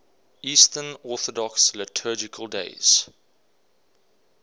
eastern orthodox liturgical days